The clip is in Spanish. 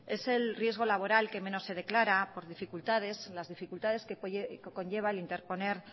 es el riesgo laboral que menos se declara por las dificultades que conlleva el interponer